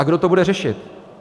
A kdo to bude řešit?